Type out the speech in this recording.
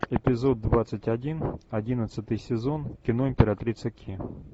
эпизод двадцать один одиннадцатый сезон кино императрица ки